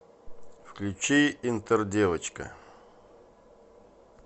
включи интердевочка